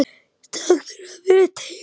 Takk fyrir að vera til.